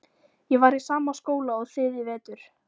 Ég var í sama skóla og þið í vetur.